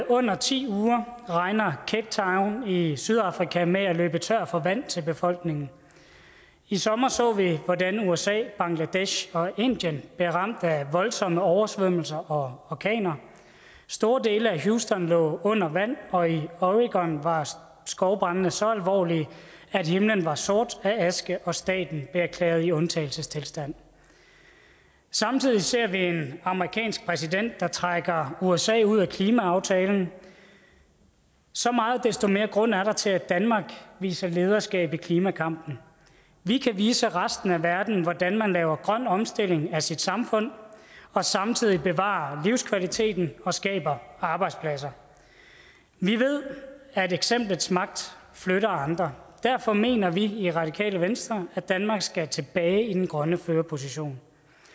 under ti uger regner cape town i sydafrika med at løbe tør for vand til befolkningen i sommer så vi hvordan usa bangladesh og indien var ramt af voldsomme oversvømmelser og orkaner store dele af houston lå under vand og i oregon var skovbrandene så alvorlige at himlen var sort af aske og staten erklæret i undtagelsestilstand samtidig ser vi en amerikansk præsident der trækker usa ud af klimaaftalen så meget desto mere grund er der til at danmark viser lederskab i klimakampen vi kan vise resten af verden hvordan man laver en grøn omstilling af sit samfund og samtidig bevarer livskvaliteten og skaber arbejdspladser vi ved at eksemplets magt flytter andre derfor mener vi i radikale venstre at danmark skal tilbage i den grønne førerposition